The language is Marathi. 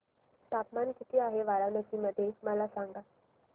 तापमान किती आहे वाराणसी मध्ये मला सांगा